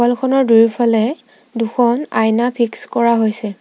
Wall খনৰ দুয়োফালে দুখন আইনা ফিক্স কৰা হৈছে।